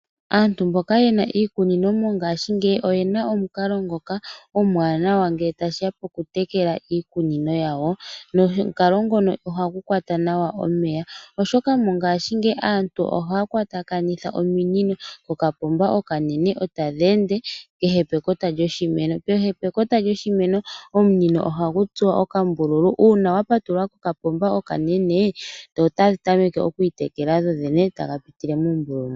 Aantu mboka yena iikunino mongashingeyi oyena omukalo ngoka omwaanawa ngele tashiya poku tekela iikunino yawo. Nomukalo ngono ohagu kwata nawa omeya oshoka mongashingeyi aantu oha kwatakanitha oominino kokapomba oka nene etadhi ende kehe pekota lyoshimeno. Kehe pekota lyoshimeno omunino ohagu tsuwa okambululu una wa patulula kokapomba okanene dho otadhi tameke okwiitekela dhodhene taga pitile mumbululu mo.